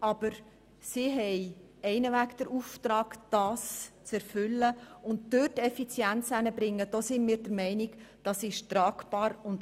Aber wir sind der Meinung, dass die Massnahme tragbar und für die Betriebe umsetzbar ist, wenn für mehr Effizienz gesorgt wird.